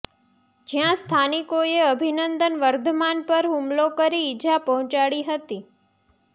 જ્યાં સ્થાનિકોએ અભિનંદન વર્ધમાન પર હુમલો કરી ઇજા પહોંચાડી હતી